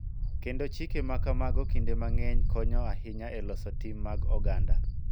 Kendo chike ma kamago kinde mang�eny konyo ahinya e loso tim mag oganda.